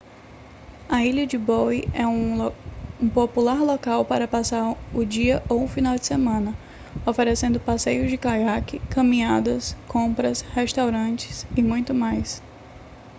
a ilha de bowen é um popular local para passar o dia ou o final de semana oferecendo passeios de caiaque caminhadas compras restaurantes e muito mais